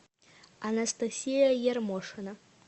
анастасия ермошина